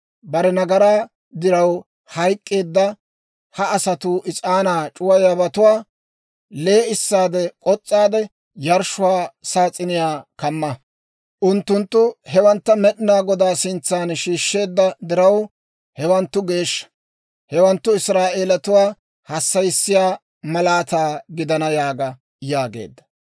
Bare nagaraa diraw hayk'k'eedda ha asatuu is'aanaa c'uwayiyaabatuwaa lee'issaade k'os's'aade, yarshshuwaa saas'iniyaa kamma. Unttunttu hewantta Med'inaa Godaa sintsan shiishsheedda diraw, hewanttu geeshsha; hewanttu Israa'eelatuwaa hassayissiyaa malaataa gidana› yaaga» yaageedda.